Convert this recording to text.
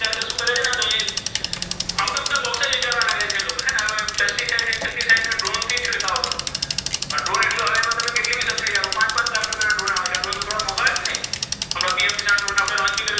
તો વિચારવા લાગે છે લોકો છે ને હવે pesticide નો ડ્રોનથી છટકાવ કરો. પણ ડ્રોન એકલા પર તમે કેટલી બધી સબસીડી આપો. પાંચ પાંચ લાખ રૂપિયા ના ડ્રોન આવે છે. ડ્રોન તો થોડા મોંઘા હોય કે નહીં? હમણાં પીએમ કિસાન ડ્રોન